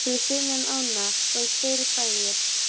Fyrir sunnan ána voru tveir bæir.